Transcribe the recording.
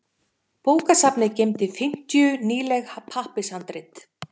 Bókasafnið geymdi fimmtíu nýleg pappírshandrit.